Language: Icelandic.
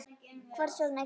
Hvers vegna kemur það?